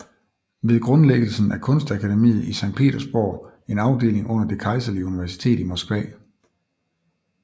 Ved grundlæggelsen af kunstakademiet i Sankt Petersborg en afdeling under Det Kejserlige Universitet i Moskva